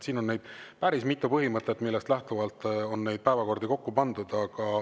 Siin on päris mitu põhimõtet, millest lähtuvalt on päevakordi kokku pandud.